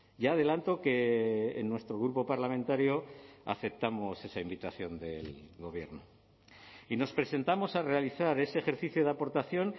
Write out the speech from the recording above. ya adelanto que en nuestro grupo parlamentario aceptamos esa invitación del gobierno y nos presentamos a realizar ese ejercicio de aportación